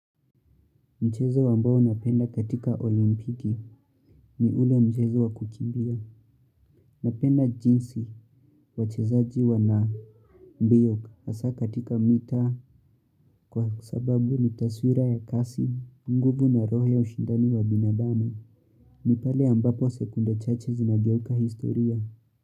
Mchezo ambao napenda katika olimpiki ni ule mchezo wa kukimbia. Napenda jinsi wachezaji wa na mbiok asa katika mita kwa sababu ni taswira ya kasi, nguvu na roho ya ushindani wa binadamu. Ni pale ambapo sekunde chache zinageuka historia.